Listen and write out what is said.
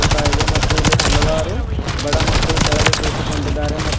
ಹೋತಾ ಇದೆ ಮತ್ತು ಇಲ್ಲಿ ಹಲವಾರು ಬಡ ಮಕ್ಕಳು ಕೆಳಗೆ ಕುಳಿತುಕೊಂಡಿದ್ದಾರೆ ಮತ್ತು --